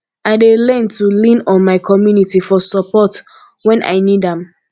i dey learn to lean on my community for support when i need am